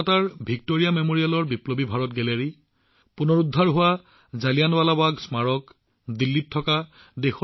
কলকাতাৰ ভিক্টোৰিয়া মেমৰিয়েলৰ বিপ্লৱী ভাৰত গেলেৰী হওক বা জালিয়ানৱালাবাগ স্মাৰকৰ পুনৰুজ্জীৱিতকৰণেই হওক